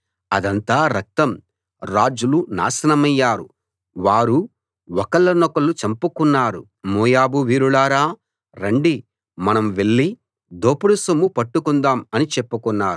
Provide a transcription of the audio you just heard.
అదంతా రక్తం రాజులు నాశనమయ్యారు వారు ఒకళ్లనొకళ్ళు చంపుకున్నారు మోయాబు వీరులారా రండి మనం వెళ్ళి దోపుడు సొమ్ము పట్టుకుందాము అని చెప్పుకున్నారు